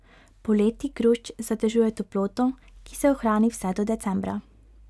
Poleti grušč zadržuje toploto, ki se ohrani vse do decembra.